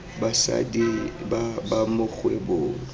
basadi ba ba mo kgwebong